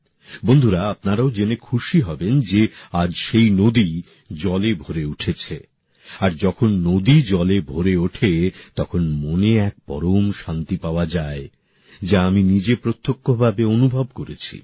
বন্ধুরা আপনারাও জেনে খুশি হবেন যে আজ সেই নদী জলে ভরে উঠেছে আর যখন নদী জলে ভরে ওঠে তখন মনে এক পরম শান্তি পাওয়া যায় যা আমি নিজে প্রত্যক্ষ ভাবে অনুভব করেছি